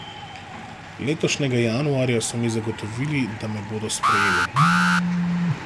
Letošnjega januarja so mi zagotovili, da me bodo sprejeli.